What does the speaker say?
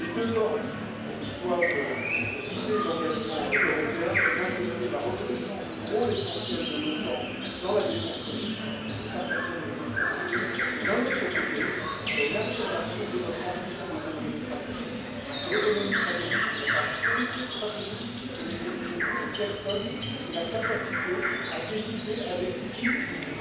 Les deux bornes qui doivent guider l'engagement européen sont, d'un côté, la reconnaissance du rôle essentiel de l'OTAN dans la défense collective et cela personne ne peut le contester et, d'un autre côté, l'affirmation de notre ambition d'autonomie stratégique, parce que l'autonomie stratégique, ce n'est pas la solitude stratégique, ce n'est dirigé contre personne, mais c'est la capacité à décider avec qui nous